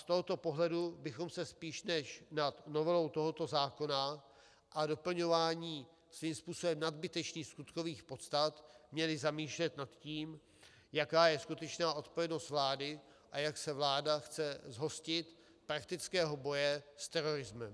Z tohoto pohledu bychom se spíš než nad novelou tohoto zákona a doplňováním svým způsobem nadbytečných skutkových podstat měli zamýšlet nad tím, jaká je skutečná odpovědnost vlády a jak se vláda chce zhostit praktického boje s terorismem.